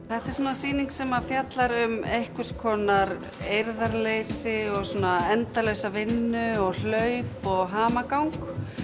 þetta er svona sýning sem fjallar um einhvers konar eirðarleysi og endalausa vinnu og hlaup og hamagang